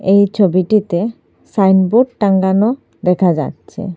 এই ছবিটিতে সাইনবোর্ড টাঙ্গানো দেখা যাচ্ছে।